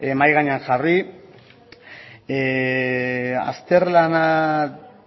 mahai gainean jarri azterlana